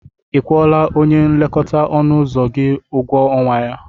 Ị kwụọla onye nlekọta ọnụ ụzọ gị ụgwọ ọnwa ya?